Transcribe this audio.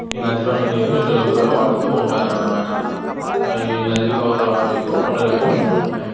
ఈ నది లోని నీరు ఇండ్లలోకి కూడా వాడుతూ ఉంటారన్నమాట. > హాయి కొండలనేవి ఉంటూ ఉంటాయి.